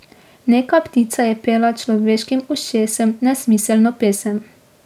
Neka ptica je pela človeškim ušesom nesmiselno pesem.